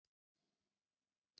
prófi mínu inn í himnaríki.